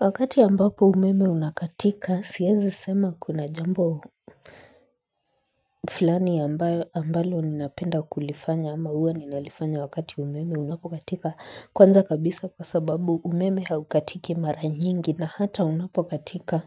Wakati ambapo umeme unakatika, siezi sema kuna jambo fulani ambalo ninapenda kulifanya ama hua ninalifanya wakati umeme unapokatika kwanza kabisa kwa sababu umeme haukatiki mara nyingi na hata unapokatika